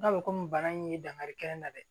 N'a bɛ komi bana in ye dankari kɛ n na dɛ